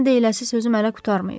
Sənə deyiləsi sözüm hələ qurtarmayıb.